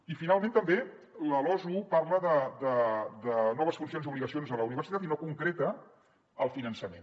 i finalment també la losu parla de noves funcions i obligacions de la universitat i no concreta el finançament